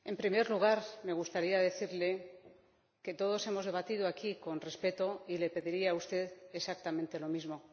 En primer lugar, me gustaría decirle que todos hemos debatido aquí con respeto y le pediría a usted exactamente lo mismo.